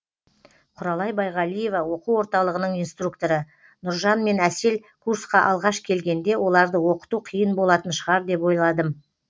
құралай байғалиева оқу орталығының инструкторы нұржан мен әсел курсқа алғаш келгенде оларды оқыту қиын болатын шығар деп ойладым